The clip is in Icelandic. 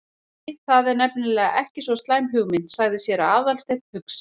Nei, það er nefnilega ekki svo slæm hugmynd- sagði séra Aðalsteinn hugsi.